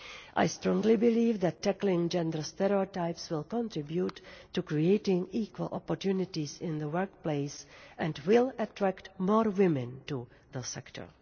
I strongly believe that tackling gender stereotypes will contribute to creating equal opportunities in the workplace and will attract more women to the sector.